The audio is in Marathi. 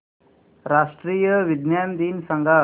राष्ट्रीय विज्ञान दिन सांगा